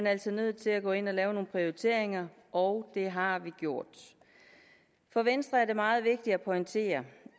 altså nødt til at gå ind og lave nogle prioriteringer og det har vi gjort for venstre er det meget vigtigt at pointere